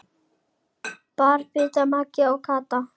Þar biðu Magga og Kata.